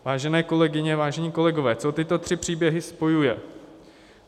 Vážené kolegyně, vážení kolegové, co tyto tři příběhy spojuje?